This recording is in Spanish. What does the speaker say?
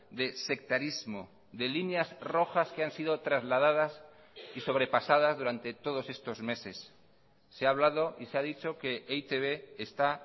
de sectarismo de líneas rojas que han sido trasladadas y sobrepasadas durante todos estos meses se ha hablado y se ha dicho que e i te be está